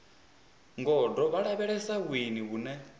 gondo vho lavhelesa vhuendi vhune